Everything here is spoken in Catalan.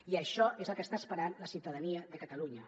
i això és el que està esperant la ciutadania de catalunya